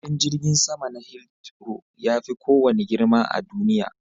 Filin jirgin sama na Hithrow yafi kowanne girma a duniya.